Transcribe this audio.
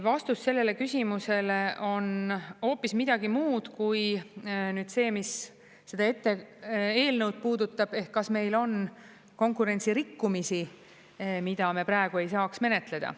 Vastus sellele küsimusele on hoopis midagi muud kui see, mis seda eelnõu puudutab, ehk kas meil on konkurentsirikkumisi, mida me praegu ei saaks menetleda.